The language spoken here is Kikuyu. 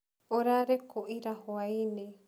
ũrarĩ kũ ira hwainĩ?